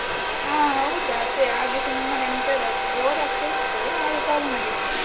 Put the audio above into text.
ಅಹ್ ಹೌದು ಅದೇ, ಹಾಗೆ ಸುಮ್ಮನೆ ಎಂತ ಇಲ್ಲಾ bore ಆಗ್ತಾ ಇತ್ತು, ಹಾಗೆ call ಮಾಡಿದ್ದು.